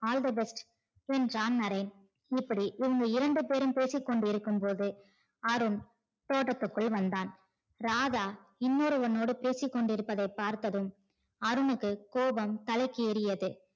All the best என்றான் நரேன் இப்படி இவங்க இரண்டு பெரும் பேசிக்கொண்டிருக்கும் போதே அருண் தோட்டத்துக்குள் வந்தான் ராதா இன்னோருவனோடு பேசி கொண்டிருப்பதை பார்த்ததும் அருண்னுக்கு கோபம் தலைக்கு ஏறியது